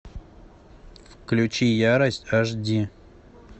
включи ярость аш ди